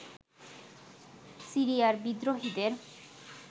সিরিয়ার বিদ্রোহীদের